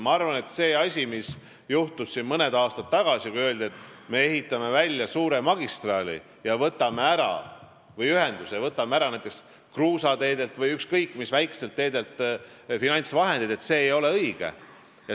Ma arvan, et see, mis juhtus mõni aasta tagasi, kui öeldi, et me ehitame välja suure magistraali või ühenduse ja võtame selleks finantsvahendid ära näiteks kruusateedelt või ükskõik mis väikestelt teedelt, ei olnud õige.